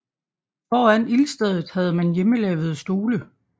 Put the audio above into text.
Foran ildstedet havde man hjemmelavede stole